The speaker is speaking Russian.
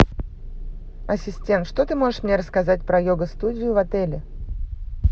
ассистент что ты можешь мне рассказать про йога студию в отеле